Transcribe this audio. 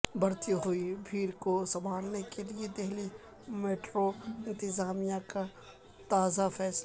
بڑھتی ہوئی بھیڑ کو سنبھالنے کیلئے دہلی میٹرو انتظامیہ کا تازہ فیصلہ